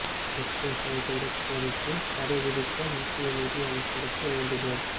magnesite இறக்குமதிக்கு தடை விதிக்க மத்திய நிதி அமைச்சருக்கு வேண்டுகோள்